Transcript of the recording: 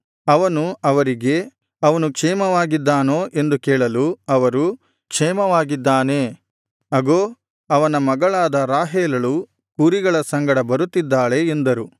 ಅವನು ಅವರಿಗೆ ಅವನು ಕ್ಷೇಮವಾಗಿದ್ದಾನೋ ಎಂದು ಕೇಳಲು ಅವರು ಕ್ಷೇಮವಾಗಿದ್ದಾನೆ ಅಗೋ ಅವನ ಮಗಳಾದ ರಾಹೇಲಳು ಕುರಿಗಳ ಸಂಗಡ ಬರುತ್ತಿದ್ದಾಳೆ ಎಂದರು